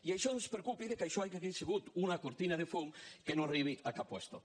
i això ens preocupa que això hagi sigut una cortina de fum que no arribi a cap lloc